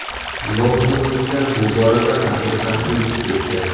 Londonliklar bu borada raqibdan o‘zib ketdi.